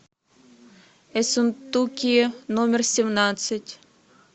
ессентуки номер семнадцать